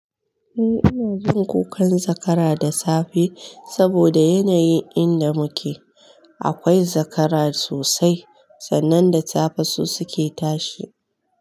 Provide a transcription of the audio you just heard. Eh ina jin kukan zakara da safe saboda yanayin inda muke akwai zakara sosai sannan da safe su suke tashi.